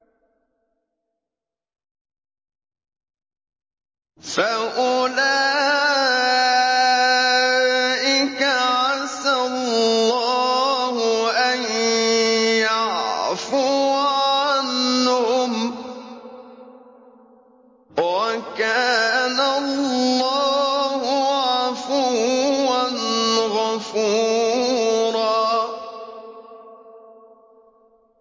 فَأُولَٰئِكَ عَسَى اللَّهُ أَن يَعْفُوَ عَنْهُمْ ۚ وَكَانَ اللَّهُ عَفُوًّا غَفُورًا